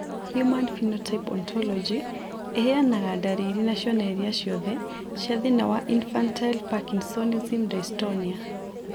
Human Phenotype Ontology ĩheanaga ndariri na cionereria ciothe cia thĩna wa Infantile Parkinsonism dystonia.